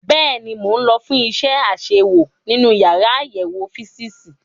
Bẹ́ẹ̀ni, mo lọ fún iṣẹ́ àṣewò nínú yàrá àyẹ̀wò físììsì.